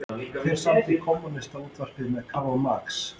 Hver samdi Kommúnistaávarpið með Karl Marx?